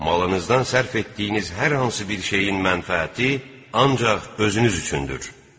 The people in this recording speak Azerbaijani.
Malınızdan sərf etdiyiniz hər hansı bir şeyin mənfəəti ancaq özünüz üçündür.